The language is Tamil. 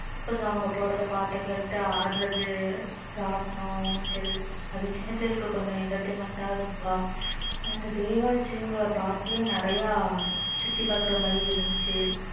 கொஞ்சம் அவங்க போடுற பாட்டை கேட்டு ஆடுறது ராட்டினம் ஊஞ்சல் அது சின்ன பிள்ளைங்களுக்கு கொஞ்சம் entertainment ஆஹ் இருக்கும் அந்த baywatch ன்ற park ல நிறைய சுத்தி பார்க்குற மாதிரி இருந்துச்சு